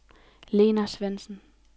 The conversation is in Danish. Lena Svendsen